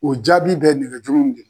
O jaabi bɛ nɛgɛjuru nun de la.